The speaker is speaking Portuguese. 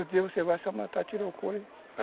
Outro dia você vai